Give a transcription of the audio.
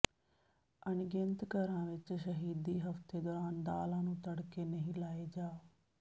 ਅਣਗਿਣਤ ਘਰਾਂ ਵਿਚ ਸ਼ਹੀਦੀ ਹਫ਼ਤੇ ਦੌਰਾਨ ਦਾਲਾਂ ਨੂੰ ਤੜਕੇ ਨਹੀਂ ਲਾਏ ਜਾਂ